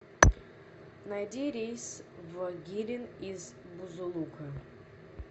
найди рейс в гирин из бузулука